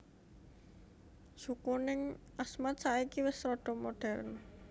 Suku ning Asmat saiki wis rodo modern